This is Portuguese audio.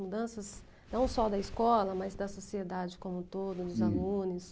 Mudanças não só da escola, mas da sociedade como um todo, dos alunos.